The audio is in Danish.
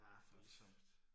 Voldsomt